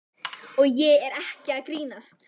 Og ég er ekki að grínast.